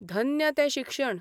धन्य तें शिक्षण !